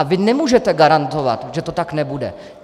A vy nemůžete garantovat, že to tak nebude.